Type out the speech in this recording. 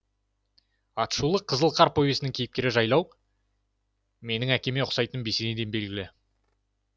аты шулы қызыл қар повесінің кейіпкері жайлау менің әкеме ұқсайтыным бесенеден белгілі